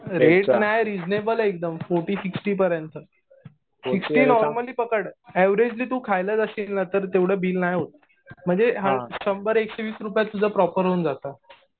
Rate नाही. Reasonable आहे एकदम फोर्टी-सिक्स्टी पर्यंत. सिक्स्टी नॉर्मली पकड. ऍव्हरेजली तु खायला जाशील ना तर तेवढं बिल नाही होत. म्हणजे शंभर-एकशे वीस रुपयात तुझं प्रॉपर होऊन जातं.